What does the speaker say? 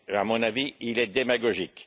à mon avis, il est démagogique.